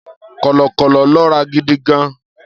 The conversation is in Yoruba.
Kọ̀lọ̀kọ̀lọ̀ lọ́ra gidi gan-an.